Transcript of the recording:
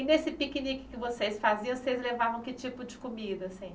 E nesse piquenique que vocês faziam, vocês levavam que tipo de comida, assim?